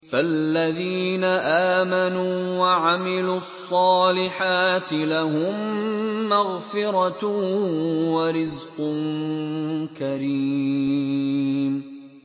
فَالَّذِينَ آمَنُوا وَعَمِلُوا الصَّالِحَاتِ لَهُم مَّغْفِرَةٌ وَرِزْقٌ كَرِيمٌ